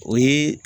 O ye